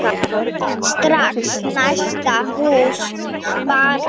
Strax næsta haust bara.